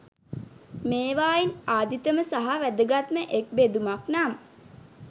මේවායින් ආදිතම සහ වැදගත්ම එක් බෙදුමක් නම්